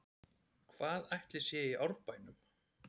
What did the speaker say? Hvað ætli sé að í Árbænum?